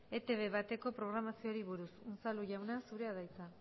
etb bateko programazioari buruz unzalu jauna zurea da hitza